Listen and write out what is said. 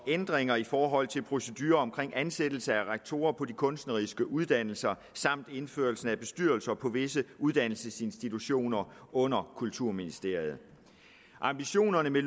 ændringer i forhold til procedurer omkring ansættelse af rektorer på de kunstneriske uddannelser og indførelse af bestyrelser på visse uddannelsesinstitutioner under kulturministeriet ambitionerne med